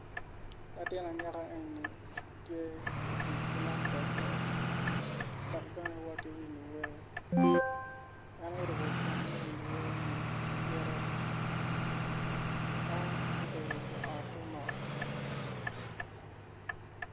Latin anyaka eni tye ka tic ki laptope dok bene wato ki winyo wer en oruko gin me winyo wereni i ite en obedo i ote mot.